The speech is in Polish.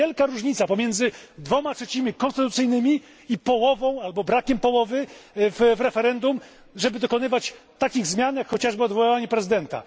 Jest wielka różnica pomiędzy dwiema trzecimi konstytucyjnymi a połową albo brakiem połowy w referendum, żeby dokonywać takich zmian, jak chociażby odwołanie prezydenta.